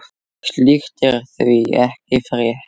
Slíkt er því ekki frétt.